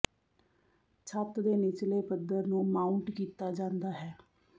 ਛੱਤ ਦੇ ਨਿਚਲੇ ਪੱਧਰ ਨੂੰ ਮਾਊਂਟ ਕੀਤਾ ਜਾਂਦਾ ਹੈ